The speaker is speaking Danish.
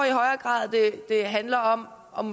i højere grad handler om om